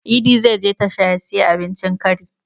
Idi zai je tasha ya siyi abincin kari